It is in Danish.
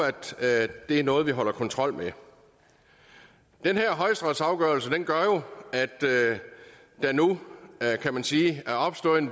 at det er noget vi fører kontrol med den her højesteretsafgørelse gør jo at der nu kan man sige er opstået en